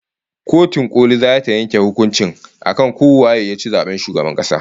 Kotun koli zata yanke hukuncin akan ko waye yaci zaben shugaban kasa